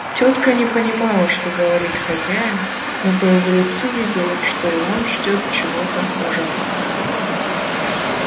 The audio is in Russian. тётка не понимала что говорит хозяин но по его лицу видела что и он ждёт чего-то ужасного